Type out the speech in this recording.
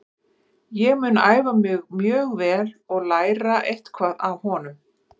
Ég mun æfa mjög vel og læra eitthvað af honum.